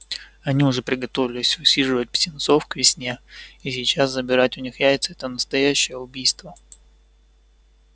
они уже приготовились высиживать птенцов к весне и сейчас забирать у них яйца это настоящее убийство